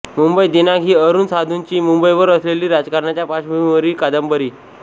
मुंबई दिनांक ही अरुण साधूंची मुंबईवर असलेली राजकारणाच्या पार्श्वभूमीवरची कादंबरी